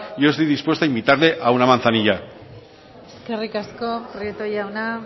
yo estoy dispuesto a invitarle a una manzanilla eskerrik asko prieto jauna